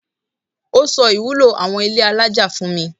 Ó sọ ìwúlò àwon ilé alájà fún mi.